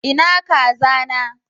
Ina kaza na?